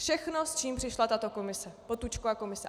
Všechno, s čím přišla tato komise, Potůčkova komise.